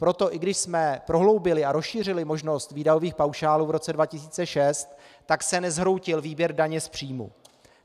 Proto i když jsme prohloubili a rozšířili možnost výdajových paušálů v roce 2006, tak se nezhroutil výběr daně z příjmů.